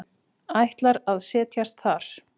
Ætlar að set jast þar.